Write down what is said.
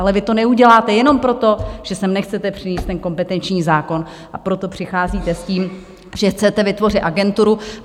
Ale vy to neuděláte jenom proto, že sem nechcete přinést ten kompetenční zákon, a proto přicházíte s tím, že chcete vytvořit agenturu.